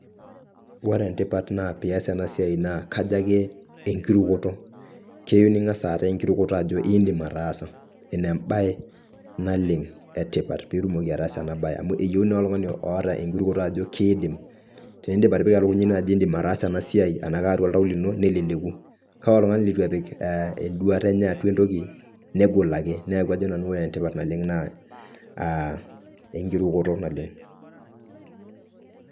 Ore entipata na pias ena siai naa kajo ake enkirukoto ajo iindim ataaasa ina embae naleng' etipat piitumoki ataasa ena bae amuu eyeuni oltung'ani oota enkirukoto ajo kiiidim teniindip atipika elukunya ino ajo iindim ataasa ena siai ena atua oltau lino neleleku kake ore oltung'ani litu epik enduata eney atua entoki negol ake, neeku ajo nanu ore entipat naleng' naa aa, enkirukoto naleng' .